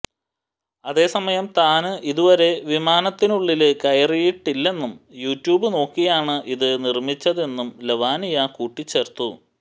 അതേസമയം താന് ഇതുരെ വിമാനത്തിനുള്ളില് കേറിയിട്ടില്ലെന്നും യൂടൂബ് നോക്കിയാണ് ഇത് നിര്മിച്ചതെന്നും ലവാനിയ കൂട്ടിച്ചേര്ത്തു